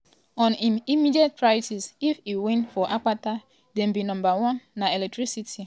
on im immediate priorities if e win for akpata dem be "number one na electricity becos without light you really no fit achieve much.